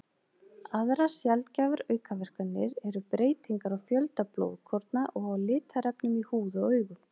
Aðrar sjaldgæfar aukaverkanir eru breytingar á fjölda blóðkorna og á litarefnum í húð og augum.